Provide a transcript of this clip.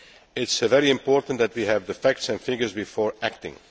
It is very important that we have the facts and figures before acting.